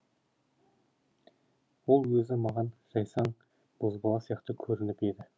ол өзі маған жайсаң бозбала сияқты көрініп еді